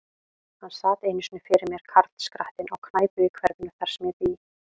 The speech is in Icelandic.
Hann sat einu sinni fyrir mér, karlskrattinn, á knæpu í hverfinu, þar sem ég bý.